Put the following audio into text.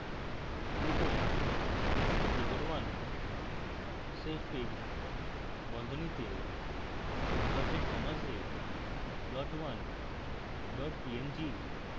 লিখুন: figure 1